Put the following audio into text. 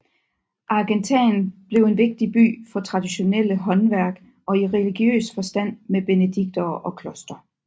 Argentan blev en vigtig by for traditionelle håndværk og i religiøs forstand med benediktinere og kloster